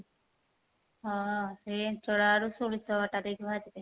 ହଁ ସେଇ ଇଞ୍ଚଡ ଆଳୁ ସୋରିଷ ବଟା ଦେଇକି ଭାଜି ଦେ